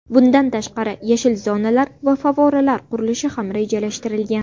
Bundan tashqari, yashil zonalar va favvoralar qurilishi ham rejalashtirilgan.